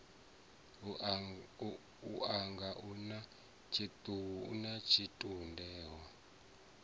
unga u na tshitunde o